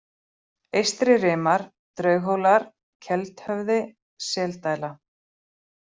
Eystri-Rimar, Draughólar, Keldhöfði, Seldæla